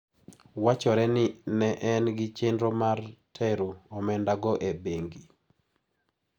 Wachore ni ne en gi chenro mar tero omenda go e bengi.